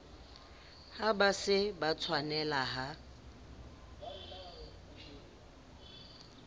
ha ba se ba tshwanelaha